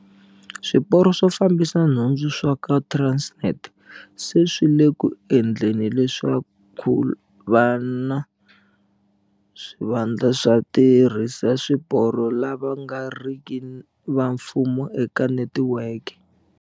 Swiporo swo Fambisa Nhundzu swa ka Transnet se swi le ku endleni leswaku ku va na swivandla swa vatirhisi va swiporo lava nga riki va mfumo eka netiweke.